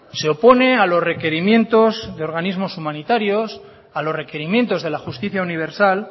se opone a los requerimientos de organismos humanitarios a los requerimientos de la justicia universal